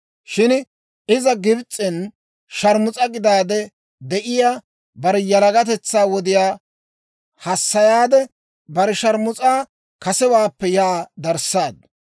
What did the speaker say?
Shin iza Gibs'en sharmus'a gidaade de'iyaa, bare yalagatetsaa wodiyaa hassayaade, bare sharmus'aa kasewaappe yaa darissaaddu.